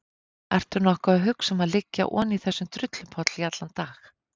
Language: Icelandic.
Ertu nokkuð að hugsa um að liggja oní þessum drullupolli í allan dag?